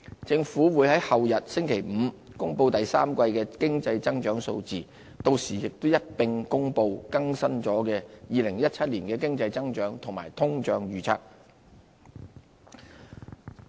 政府會在後日公布第三季的經濟增長數字，到時亦會一併公布已更新的2017年經濟增長及通脹預測。